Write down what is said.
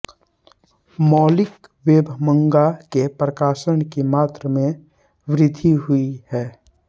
मौलिक वेबमांगा के प्रकाशन की मात्र में वृद्धि हुई है